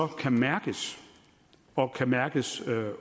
kan mærkes og kan mærkes